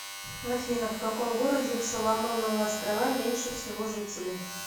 афина в каком городе в соломоновы острова меньше всего жителей